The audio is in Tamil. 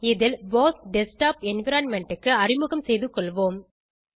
இதில் போஸ் டெஸ்க்டாப் என்விரான்மென்ட் க்கு அறிமுகம் செய்து கொள்வோம்